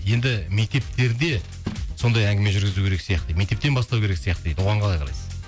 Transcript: енді мектептерде сондай әңгіме жүргізу керек сияқты мектептен бастау керек сияқты дейді оған қалай қарайсыз